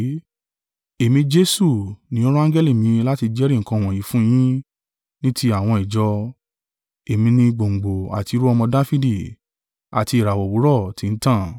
“Èmi, Jesu, ni ó rán angẹli mi láti jẹ́rìí nǹkan wọ̀nyí fún yin ní tí àwọn ìjọ. Èmi ni gbòǹgbò àti irú-ọmọ Dafidi, àti ìràwọ̀ òwúrọ̀ tí ń tàn.”